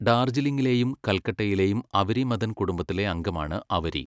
ഡാർജിലിംഗിലെയും കൽക്കട്ടയിലെയും അവരി മദൻ കുടുംബത്തിലെ അംഗമാണ് അവരി.